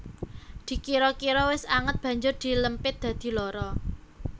Dikira kira wis anget banjur dilempit dadi loro